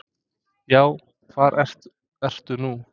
Já, hvar ertu nú?